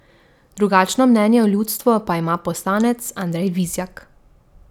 Drugačno mnenje o ljudstvu pa ima poslanec Andrej Vizjak.